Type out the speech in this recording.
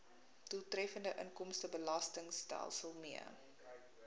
doeltreffende inkomstebelastingstelsel mee